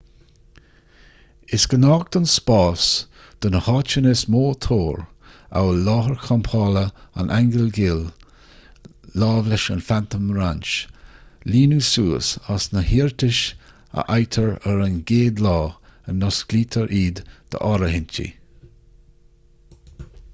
is gnách don spás do na háiteanna is mó tóir amhail láthair champála an aingil ghil láimhe leis an phantom ranch líonadh suas as na hiarratais a fhaightear ar an gcéad lá a n-osclaítear iad d'áirithintí